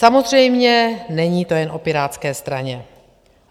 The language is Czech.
Samozřejmě není to jen o Pirátské straně.